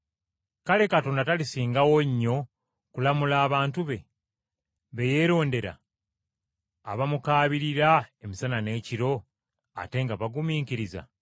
Kale Katonda talisingawo nnyo kulamula abantu be, be yeerondera, abamukaabirira emisana n’ekiro ate ng’abagumiikiriza?